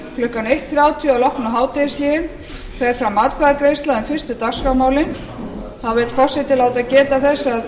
klukkan eitt þrjátíu að loknu hádegishléi fer fram atkvæðagreiðsla um fyrstu dagskrármálin þá vill forseti geta þess að